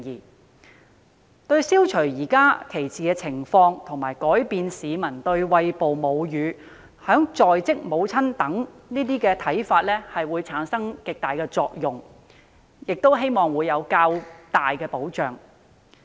此舉對消除現時的歧視情況，以及改變市民對餵哺母乳和在職母親的看法產生極大的作用，亦會提供較大保障。